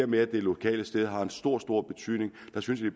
med at det lokale sted har en stor stor betydning der synes vi